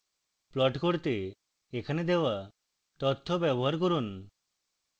plot করতে এখানে দেওয়া তথ্য ব্যবহার করুন